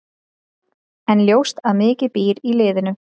En ljóst að mikið býr í liðinu.